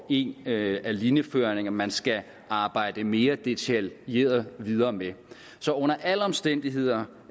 en af linjeføringerne man skal arbejde mere detaljeret videre med så under alle omstændigheder